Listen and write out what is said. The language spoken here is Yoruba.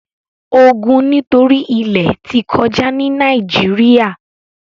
ogun nitori ilẹ ti kọja ni Nàìjíríà